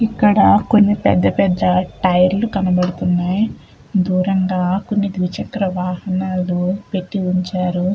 ఇక్కడ కొన్ని పెద్ద పెద్ద టైర్లు కనబడుతున్నాన్నాయ్ దూరంగా కొన్ని ద్విచక్ర వాహనాలు పెట్టి ఉంచారు.